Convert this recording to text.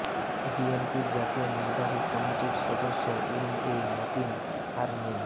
বিএনপির জাতীয় নির্বাহী কমিটির সদস্য এম এ মতিন আর নেই